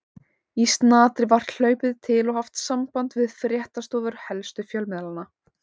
Í snatri var hlaupið til og haft samband við fréttastofur helstu fjölmiðlanna.